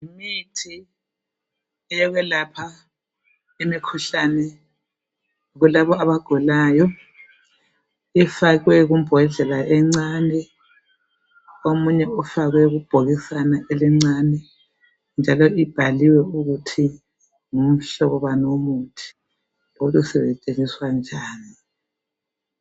Yimithi yokwelapha imikhuhlani kulabo abagulayo. Ifakwe kumbodlela encane. Omunye ufakwe kubhokisana elincane, njalo ibhaliwe ukuthi ngumhlobo bani womuthi. Lokuthi usetshenziswa njani.